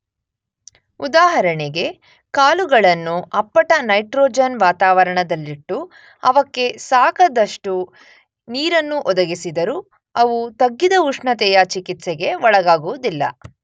ಉದಾಹರಣೆಗೆ ಕಾಳುಗಳನ್ನು ಅಪ್ಪಟ ನೈಟ್ರೊಜನ್ ವಾತಾವರಣದಲ್ಲಿಟ್ಟು ಅವಕ್ಕೆ ಸಾಕಾದಷ್ಟು ನೀರನ್ನು ಒದಗಿಸಿದರೂ ಅವು ತಗ್ಗಿದ ಉಷ್ಣತೆಯ ಚಿಕಿತ್ಸೆಗೆ ಒಳಗಾಗುವುದಿಲ್ಲ.